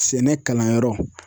Sɛnɛ kalanyɔrɔ.